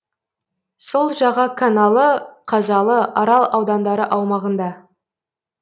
сол жаға каналы қазалы арал аудандары аумағында